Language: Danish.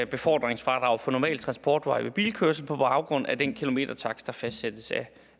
befordringsfradraget for normal transportvej ved bilkørsel på baggrund af den kilometertakst der fastsættes